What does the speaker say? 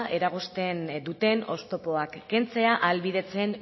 eragozten duten oztopoak kentzea ahalbidetzen